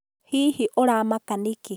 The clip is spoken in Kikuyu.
Hihi ũramaka nĩkĩĩ?